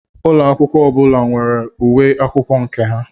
Úlọ akwụkwọ ọbụla nwere uwe akwụkwọ nke ha.